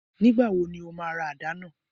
Nígbà wo ni ó máa ra àdá náà